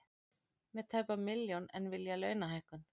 Með tæpa milljón en vilja launahækkun